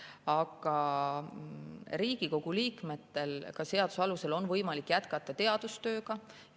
Aga Riigikogu liikmetel on seaduse alusel võimalik jätkata näiteks teadustööd.